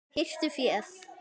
Hirtu féð!